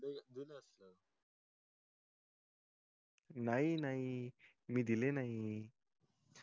नाही नाही मी दिले नई